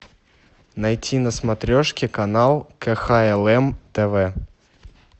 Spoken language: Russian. найти на смотрешке канал кхлм тв